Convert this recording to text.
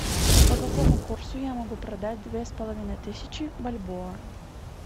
по какому курсу я могу продать две с половиной тысячи бальбоа